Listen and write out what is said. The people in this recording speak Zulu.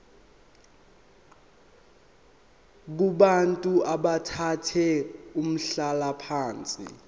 kubantu abathathe umhlalaphansi